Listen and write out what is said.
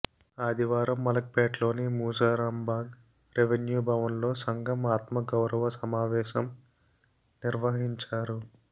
ఆదివారం మలక్ పేట్లోని మూసారాంబాగ్ రెవిన్యూ భవన్లో సంఘం ఆత్మ గౌరవ సమావేశం నిర్వహించారు